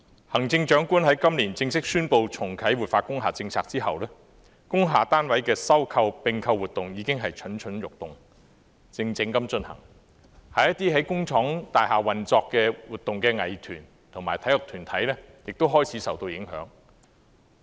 行政長官在今年正式宣布重啟活化工廈政策後，工廈單位的收購和併購活動已經蠢蠢欲動，靜靜地進行，一些在工業大廈運作和活動的藝團及體育團體亦開始受到影響。